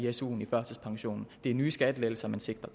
af su’en af førtidspensionen det er nye skattelettelser man sigter